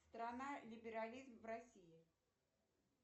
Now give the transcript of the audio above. страна либерализм в россии